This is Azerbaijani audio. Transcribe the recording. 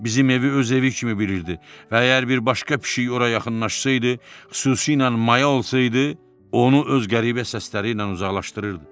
Bizim evi öz evi kimi bilirdi və əgər bir başqa pişik ora yaxınlaşsaydı, xüsusilə maya olsaydı, onu öz qəribə səsləri ilə uzaqlaşdırırdı.